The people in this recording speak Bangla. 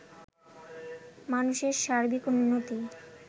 মানুষের সার্বিক উন্নতি